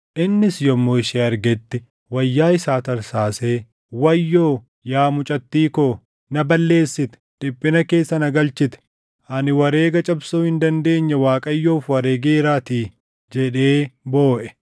Innis yommuu ishee argetti wayyaa isaa tarsaasee, “Wayyoo! Yaa mucattii koo! Na balleessite; dhiphina keessa na galchite; ani wareega cabsuu hin dandeenye Waaqayyoof wareegeeraatii” jedhee booʼe.